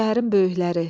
Şəhərin böyükləri.